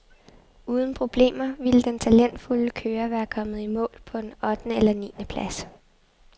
Uden problemer, ville den talentfulde kører være kommet i mål på en ottende eller niende plads.